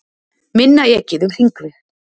Minna ekið um hringveg